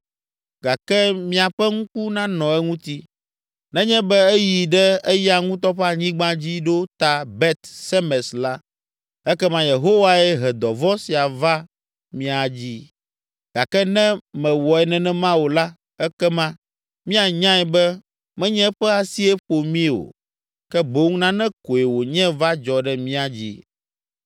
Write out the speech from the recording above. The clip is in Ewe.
gake miaƒe ŋku nanɔ eŋuti. Nenye be eyi ɖe eya ŋutɔ ƒe anyigba dzi ɖo ta Bet Semes la, ekema Yehowae he dɔvɔ̃ sia va mía dzii. Gake ne mewɔe nenema o la, ekema míanyae be menye eƒe asie ƒo mí o, ke boŋ nane koe wònye va dzɔ ɖe mía dzi.”